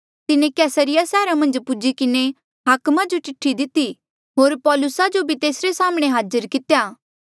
तिन्हें कैसरिया सैहरा मन्झ पुज्ही किन्हें हाकमा जो चिठ्ठी दिती होर पौलुसा जो भी तेसरे साम्हणें हाजिर कितेया